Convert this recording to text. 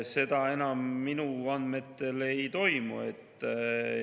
Seda enam minu andmetel ei toimu.